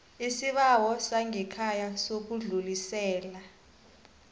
isibawo sangekhaya sokudlulisela